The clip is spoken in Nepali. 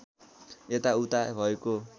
यता उता भएको